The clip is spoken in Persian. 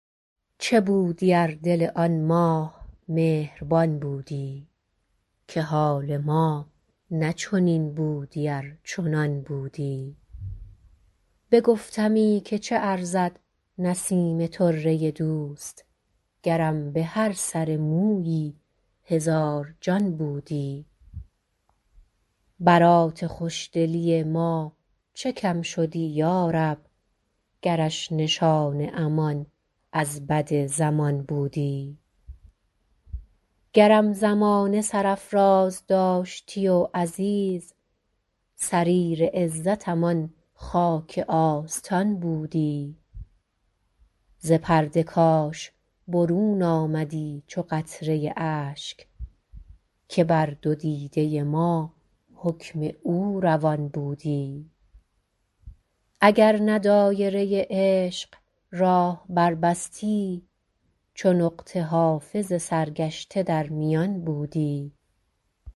چه بودی ار دل آن ماه مهربان بودی که حال ما نه چنین بودی ار چنان بودی بگفتمی که چه ارزد نسیم طره دوست گرم به هر سر مویی هزار جان بودی برات خوش دلی ما چه کم شدی یا رب گرش نشان امان از بد زمان بودی گرم زمانه سرافراز داشتی و عزیز سریر عزتم آن خاک آستان بودی ز پرده کاش برون آمدی چو قطره اشک که بر دو دیده ما حکم او روان بودی اگر نه دایره عشق راه بربستی چو نقطه حافظ سرگشته در میان بودی